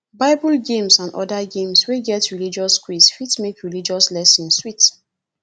bible games and oda games wey get religious quiz fit make religious lesson sweet